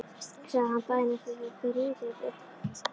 sagði hann daginn eftir þegar þeir rifjuðu þetta upp: Oj!